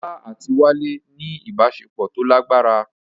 Olá àti Wálé ní ìbáṣepọ̀ tó lágbára